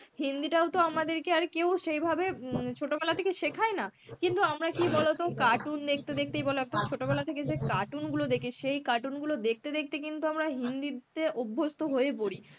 হিন্দি টাও তো আমাদের কে আর কেউ সেইভাবে উম ছোটবেলা থেকে শেখায় না. কিন্তু আমরা কি বলতো cartoon দেখতে দেখতেই বলো একদম ছোটবেলা থেকে যে cartoon গুলো দেখি সেই cartoon গুলো দেখতে দেখতে কিন্তু আমরা হিন্দি তে অভ্যস্ত হয়ে পরি.